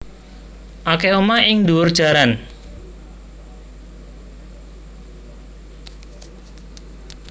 Akeh omah ing ndhuwur jaran